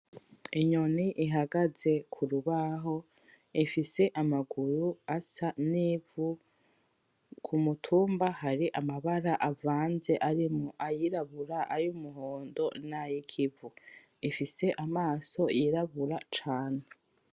Inyoni ihagaze kurubaho ifise amaguru asa n'ivu, k'umutumba hari amabara avanze arimwo ayirabura, ayumuhondo n'ayikuvu, ifise amaso yirabura cane.